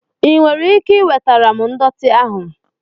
Ị nwere ike iwetara m ndọtị ahụ?